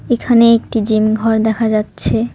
এখানে একটি জিম ঘর দেখা যাচ্ছে।